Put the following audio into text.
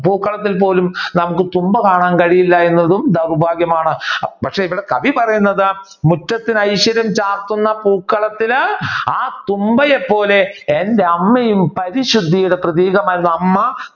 പൂക്കളത്തിൽ പോലും നമുക്ക് തുമ്പ കാണാൻ കഴിയില്ല എന്നതും ദൗർഭാഗ്യമാണ്. പക്ഷേ ഇവിടെ കവി പറയുന്നത് മുറ്റത്തിന് ഐശ്വര്യം ചാർത്തുന്ന പൂക്കളത്തില് ആ തുമ്പയെ പോലെ എന്റെ അമ്മയും പരിശുദ്ധിയുടെ പ്രതീകമായിരുന്നു അമ്മ